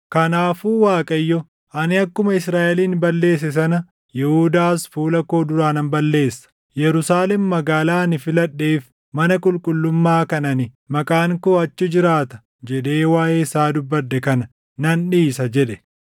Kanaafuu Waaqayyo, “Ani akkuma Israaʼelin balleesse sana Yihuudaas fuula koo duraa nan balleessa; Yerusaalem magaalaa ani filadheef mana qulqullummaa kan ani, ‘Maqaan koo achi jiraata’ jedhee waaʼee isaa dubbadhe kana nan dhiisa” jedhe.